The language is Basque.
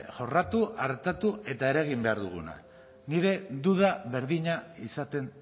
jorratu artatu eta eragin behar duguna nire duda berdina izaten